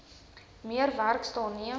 meer werksdae neem